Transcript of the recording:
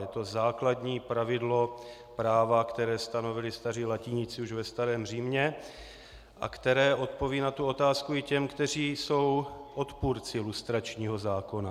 Je to základní pravidlo práva, které stanovili staří latiníci už ve starém Římě a které odpoví na tu otázku i těm, kteří jsou odpůrci lustračního zákona.